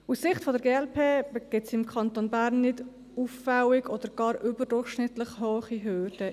Aus Sicht der glp bestehen im Kanton Bern nicht auffällig oder gar überdurchschnittlich hohe Hürden.